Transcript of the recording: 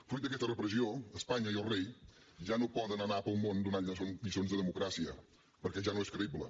fruit d’aquesta repressió espanya i el rei ja no poden anar pel món donant lliçons de democràcia perquè ja no és creïble